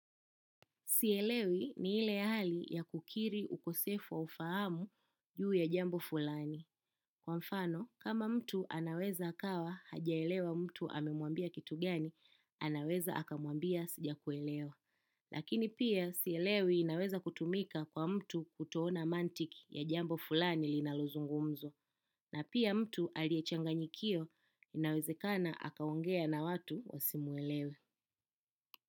Sielewi ni ile hali ya kukiri ukosefu wa ufahamu juu ya jambo fulani. Kwa mfano, kama mtu anaweza akawa hajaelewa mtu amemuambia kitu gani, anaweza akamuambia sija kuelewa. Lakini pia, sielewi inaweza kutumika kwa mtu kutoona mantiki ya jambo fulani linaluzungumzwa. Na pia mtu aliyechanganyikiwa, inawezekana akaongea na watu wasimuelewe.